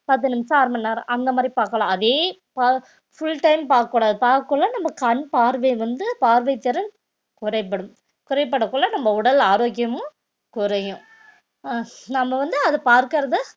பத்து நிமிஷம் அர மணி நேரம் அந்த மாதிரி பார்க்கலாம் அதே fu~ full time பார்க்கக் கூடாது பார்க்கக்குள்ள நம்ம கண் பார்வை வந்து பார்வைத்திறன் குறைபடும் குறைபாடக்குள்ள நம்ம உடல் ஆரோக்கியமும் குறையும் அஹ் நம்ம வந்து அது பார்க்கிறதை